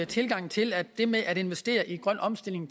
tilgang til at det med at investere i grøn omstilling